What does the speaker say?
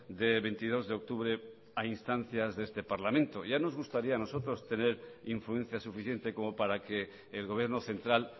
de veintidós de octubre a instancias de este parlamento ya nos gustaría a nosotros tener influencia suficiente como para que el gobierno central